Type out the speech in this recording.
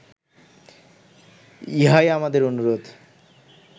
ইহাই আমাদের অনুরোধ